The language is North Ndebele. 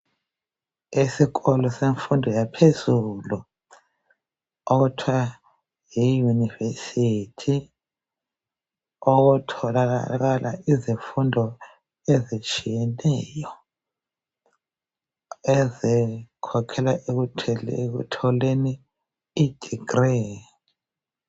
Esikolo semfundo yaphezulu okuthwa yiyunivesithi okutholakala izifundo ezitshiyeneyo ezikhokhela ekutholeni idegree.